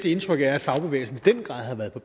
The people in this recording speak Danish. at fagbevægelsen